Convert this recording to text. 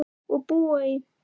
Og búa í